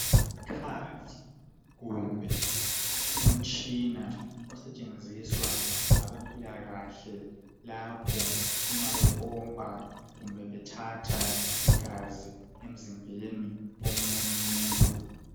Isikhali kumbe umtshina osetshenziswa ngabempilakahle lapho uma bepompa kumbe bethatha igazi emzimbeni womunye umuntu.